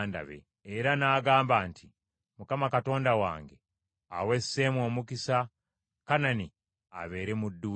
Era n’agamba nti, “ Mukama Katonda wange, awe Seemu omukisa, Kanani abeere muddu we.”